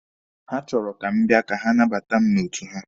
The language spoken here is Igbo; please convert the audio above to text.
Ha chọrọ ka m bia ka ha nabata mụ n'otu ha.